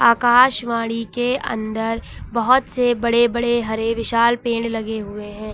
आकाशवाणी के अन्दर बहोत से बड़े बड़े हरे विशाल पेड़ लगे हुए है।